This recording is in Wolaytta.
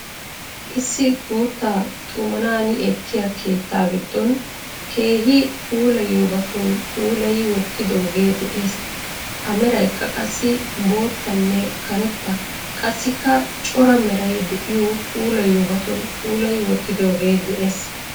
Issi guuttaa xumanaani ekkiyaa keettaa giddon keehi puulayiyobatun puulayi wottidoogee de'ees. A meraykka qassi boottanne karetta qassikka cora meray de"iyo puulayiyobatun puulayi wotidooge de'ees.